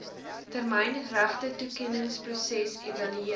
termyn regtetoekenningsproses evalueer